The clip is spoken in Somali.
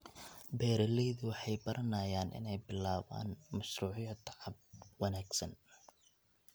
Beeraleydu waxay baranayaan inay bilaabaan mashruucyo tacab wanaagsan.